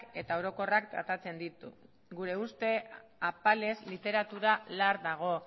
eta orokorrak tratatzen ditu gure uste apalez literatura lar dago